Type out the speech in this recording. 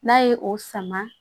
N'a ye o sama